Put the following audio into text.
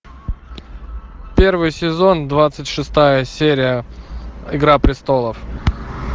первый сезон двадцать шестая серия игра престолов